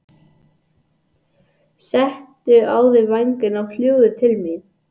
Settu á þig vængina og fljúgðu til mín.